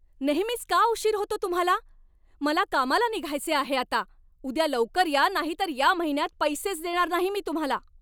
नेहमीच का उशीर होतो तुम्हाला? मला कामाला निघायचे आहे आता! उद्या लवकर या नाहीतर या महिन्यात पैसेच देणार नाही मी तुम्हाला.